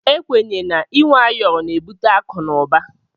Ekwenye na inwe ayọrọ na ebute akụ na uba.